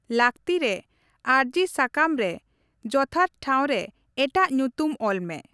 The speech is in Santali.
ᱞᱟᱹᱠᱛᱤ ᱨᱮ, ᱟᱹᱨᱡᱤ ᱥᱟᱠᱟᱢ ᱨᱮ ᱡᱛᱷᱟᱛ ᱴᱷᱟᱶ ᱨᱮ ᱮᱴᱟᱜ ᱧᱩᱛᱩᱢ ᱚᱞᱢᱮ ᱾